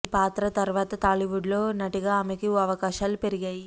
ఈ పాత్ర తర్వాత టాలీవుడ్ లో నటిగా ఆమెకి అవకాశాలు పెరిగాయి